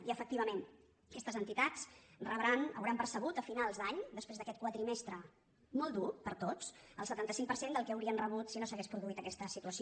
i efectivament aquestes entitats rebran hauran per·cebut a finals d’any després d’aquest quadrimestre molt dur per a tots el setanta cinc per cent del que haurien rebut si no s’hagués produït aquesta situació